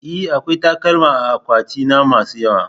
E, akwai takalma a akwatina masu yawa.